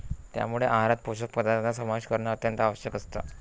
त्यामुळे आहारात पोषक पदार्थांचा समावेश करणं अत्यंत आवश्यक असतं.